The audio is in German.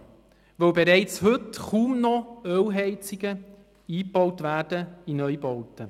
Denn bereits heute werden kaum noch Ölheizungen in Neubauten eingebaut.